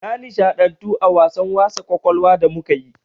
Na nishaɗantu da wasan wasa ƙwaƙwalwa da muka yi.